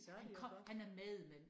Han kom han er med men